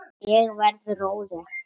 Ég verð róleg.